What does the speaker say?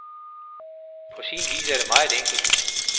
På sin vis er det meget enkelt.